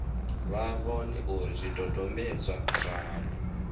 vha vhone uri zwidodombedzwa zwavho